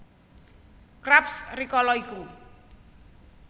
Krabs rikala iku